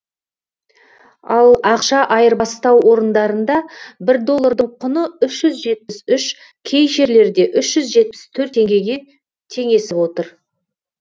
ал ақша айырбастау орындарында бір доллардың құны үш жүз жетпіс үш кей жерлерде үш жүз жетпіс төрт теңгеге теңесіп отыр